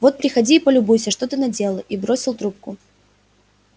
вот приходи и полюбуйся что ты наделала и бросил трубку